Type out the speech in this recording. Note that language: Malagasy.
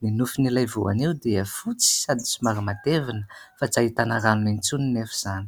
ny nofin'ilay voanio dia fotsy sady somary matevina fa tsy ahitana rano intsony nefa izany